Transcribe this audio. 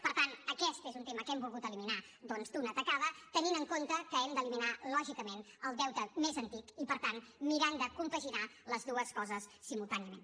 per tant aquest és un tema que hem volgut eliminar doncs d’una tacada tenint en compte que hem d’eliminar lògicament el deute més antic i per tant mirant de compaginar les dues coses simultàniament